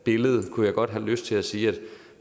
kunne jeg godt have lyst til at sige at